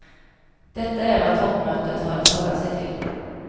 Detta är vad toppmötet har att hålla sig till.